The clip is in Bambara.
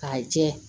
K'a jɛ